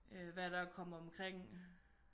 Øh hvad er der at komme omkring?